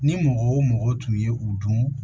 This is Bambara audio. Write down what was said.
Ni mɔgɔ o mɔgɔ tun ye u dun